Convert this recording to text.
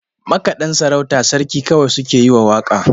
Makaɗan sarauta sarki kawai suke yi wa waƙa.